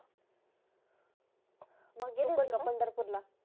मग येत का पंढरपूर ला